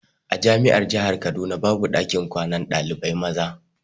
A jami'ar jahar kaduna babu ɗakin kwanar ɗalibai maza.